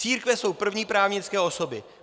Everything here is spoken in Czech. Církve jsou první právnické osoby.